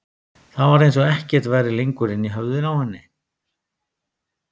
Það var eins og ekkert væri lengur inni í höfðinu á henni.